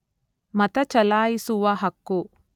ಮತಚಲಾಯಿಸುವ ಹಕ್ಕು